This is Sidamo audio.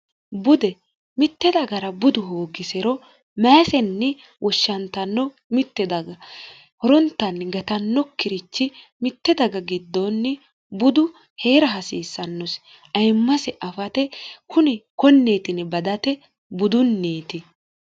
bude mitte dagara budu hoogisero mayisenni woshshantanno mitte daga horontanni gatanno kirichi mitte daga giddoonni budu hee'ra hasiissannosi ayimmase afate kuni konneetini badate budunniiti